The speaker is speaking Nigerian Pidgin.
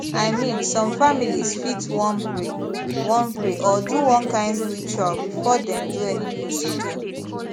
i mean some families fit wan pray wan pray or do one kind ritual before dem do any procedure